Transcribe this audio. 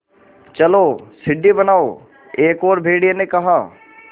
चलो सीढ़ी बनाओ एक और भेड़िए ने कहा